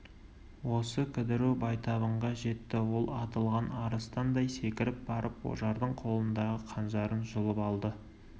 осы кідіру байтабынға жетті ол атылған арыстандай секіріп барып ожардың қолындағы қанжарын жұлып алды